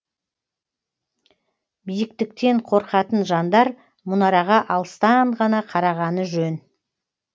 биіктіктен қорқатын жандар мұнараға алыстан ғана қарағаны жөн